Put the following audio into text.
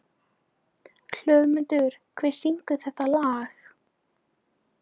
Hlöðmundur, hver syngur þetta lag?